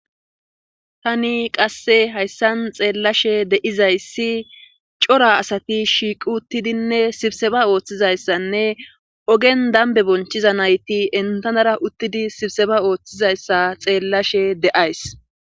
tani qasse hayssan xeellashe de7izayssi cora asati shiiqi uttidinne sibseba ooththizayssanne ogen dambe bonchiza nayti entanara uttidi sibseba ooththizayssa xeellashe de7ays